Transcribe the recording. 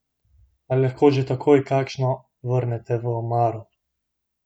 Ali lahko že takoj kakšno vrnete v omaro?